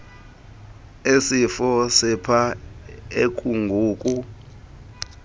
esifo sepha ekungoku